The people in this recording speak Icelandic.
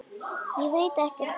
Ég veit ekkert um það.